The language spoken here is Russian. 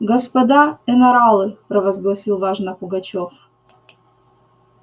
господа енаралы провозгласил важно пугачёв